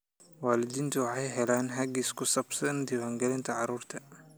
Waalidiintu waxay helaan hagis ku saabsan daawaynta carruurta.